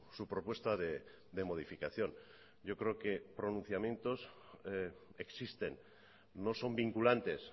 su propuesta de modificación yo creo que pronunciamientos existen no son vinculantes